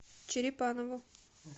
черепанову